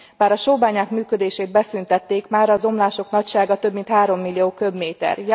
Bár a sóbányák működését beszüntették, mára az omlások nagysága több mint három millió köbméter.